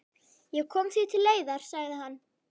Ég kom því til leiðar, sagði hann.